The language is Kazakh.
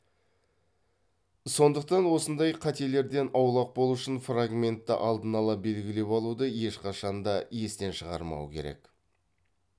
сондықтан осындай қателерден аулақ болу үшін фрагментті алдын ала белгілеп алуды ешқашанда естен шығармау керек